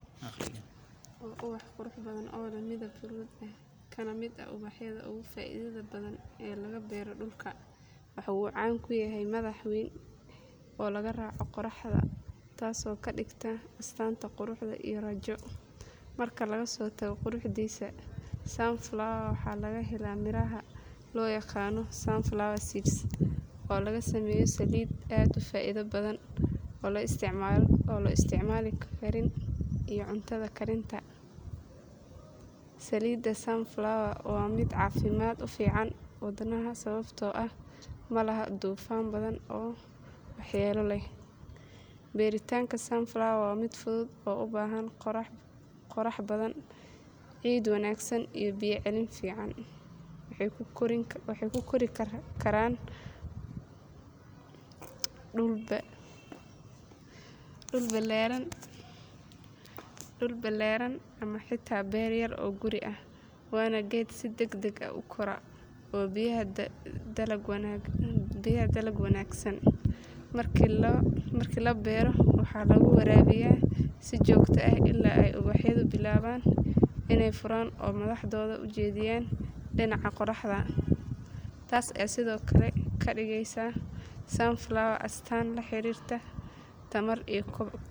Waa ubax qurux badan oo leh midab huruud ah, kana mid ah ubaxyada ugu faa’iidada badan ee laga beero dhulka. Waxa uu caan ku yahay madax weyn oo la raaca qoraxda, taasoo ka dhigta astaan qurux iyo rajo. Marka laga soo tago quruxdiisa, sunflower waxaa laga helaa miraha loo yaqaan sunflower seeds oo laga sameeyo saliid aad u faa’iido badan oo la isticmaalo karin iyo cunto karinta. Saliidda sunflower waa mid caafimaad u fiican wadnaha sababtoo ah ma laha dufan badan oo waxyeello leh. Beeritaanka sunflower waa mid fudud oo u baahan qorrax badan, ciid wanaagsan, iyo biyo celin fiican. Waxay ku kori karaan dhul ballaaran ama xitaa beer yar oo guri ah, waana geed si degdeg ah u kora oo bixiya dalag wanaagsan. Markii la beero, waxaa lagu waraabiyaa si joogto ah ilaa ay ubaxyadu bilaabaan inay furaan oo madaxooda u jeediyaan dhinaca qoraxda. Taas ayaa sidoo kale ka dhigaysa sunflower astaan la xiriirta tamar iyo kobac.